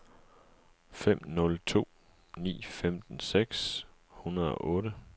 fem nul to ni femten seks hundrede og otte